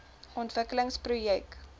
ontwikkelingsprojek